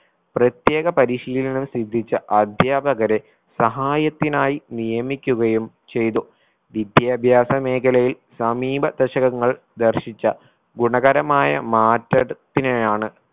പ്രത്യേക പരിശീലനം സിദ്ധിച്ച അധ്യാപകരെ സഹായത്തിനായി നിയമിക്കുകയും ചെയ്തു. വിദ്യാഭ്യാസ മേഖലയിൽ സമീപ ദശകങ്ങൾ ദർശിച്ച ഗുണകരമായ മാറ്റ ത്തിനെയാണ്